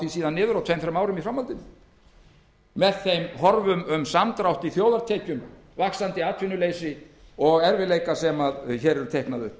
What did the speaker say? síðan niður á tveim til þrem árum í framhaldinu með þeim horfum um samdrátt í þjóðartekjum vaxandi atvinnuleysi og erfiðleikum sem hér eru teiknaðir upp